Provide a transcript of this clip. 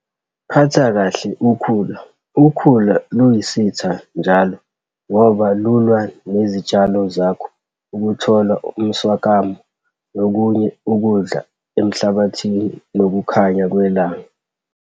Phatha kahle ukhula - ukhula luyisitha njalo ngoba lulwa nezitshalo zakho ukuthola umswakamo nokunye ukudla emhlabathini nokukhanya kwelanga.